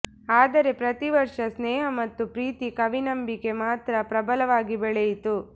ಆದರೆ ಪ್ರತಿ ವರ್ಷ ಸ್ನೇಹ ಮತ್ತು ಪ್ರೀತಿ ಕವಿ ನಂಬಿಕೆ ಮಾತ್ರ ಪ್ರಬಲವಾಗಿ ಬೆಳೆಯಿತು